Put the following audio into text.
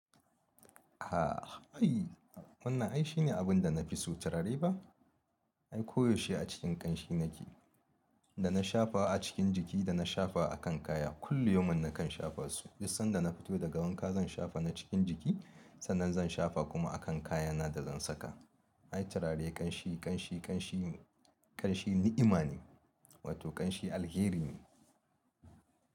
A'a ai wannan ai shine abin da na fi so turare ba? Ai koyaushe a cikin ƙanshi nake, da na shafa a cikin jiki da na shafa a kan kaya. Kullu yaumin nakan shafa su. Dus sanda na fito daga wanka zan shafa na cikin jiki, sannan zan shafa kuma a kan kayana da zan saka. Ai turare ƙanshi, ƙanshi, ƙanshi, ƙanshi ni'ima ne, wato ƙanshi alheri ne.